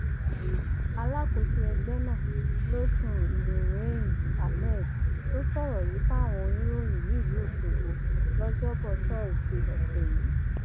alákòóso ẹgbẹ náà losun nurein hammed ló sọrọ yìí fáwọn oníròyìn nílùú ọṣọgbó lọjọbọtòtọṣedéé ọsẹ yìí